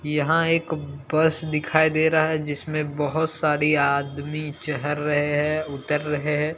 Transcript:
यहां एक बस दिखाई दे रहा है जीसमें बहोत सारी आदमी चहर रहे है उतर रहे हैं।